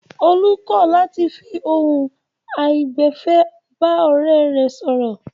Olú kọ̀ làti fi ohun àìgbẹ̀fẹ̀ bá ọ̀rẹ́ rẹ̀ sọ̀rọ̀.